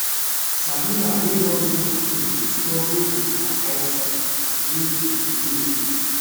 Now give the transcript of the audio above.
sabina wey don reach 14 dey struggle wit her eyesight wey dey fail